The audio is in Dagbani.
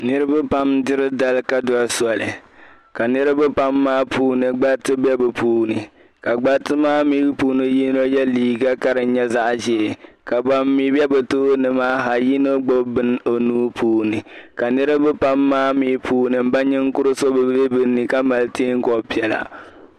niriba pam diri dari ka soli ka niriba pam maa puuni gbariti be bi puuni ka gbariti maa mi puuni so ye liiga ka di nyɛ zaɣ' ʒee ka ban mi be bi tooni maa ha yino bi bini o nuu puuni ka niriba pam maa mi puuni n ba nin kuri so be bi ni ka mali yeen kɔb piɛlla